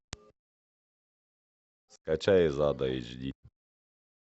скачай из ада эйч ди